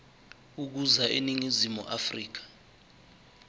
ukuza eningizimu afrika